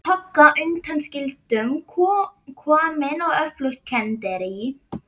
Togga undanskildum komin á öflugt kenderí.